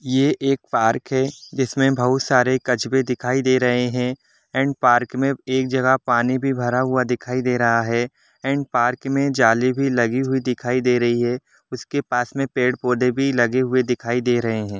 ये एक पार्क है जिसमें बहुत सारे कछुयें दिखाई दे रहे हैं एंड पार्क में एक जगह पानी भी भरा हुआ दिखाई दे रहा है एंड पार्क में जाली भी लगी हुई दिखाई दे रही है उसके पास में पेड़-पौधे भी लगे हुए दिखाई दे रहे हैं।